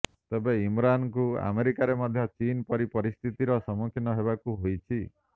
ତେବେ ଇମରାନଙ୍କୁ ଆମେରିକାରେ ମଧ୍ୟ ଚୀନ ପରି ସ୍ଥିତିର ସମ୍ମୁଖୀନ ହେବାକୁ ହୋଇଛି